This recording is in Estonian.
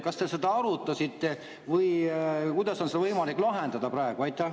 Kas te seda arutasite või kuidas on seda võimalik praegu lahendada.